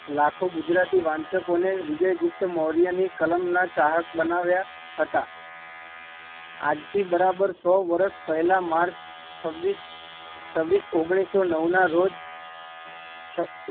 લખો ગુજરાતી વાંચકો ને વિજયગુપ્તમૌર્ય ની કલામ ના ચાહક બનાવ્યા હતા, આજ થી બરાબર સો વર્ષ પેલા છવીસ, છવીસ ઓગણીસો નવ ના રોજ